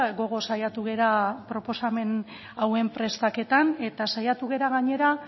gogoz saiatu gara proposamen hauen prestaketan eta saiatu gara gainera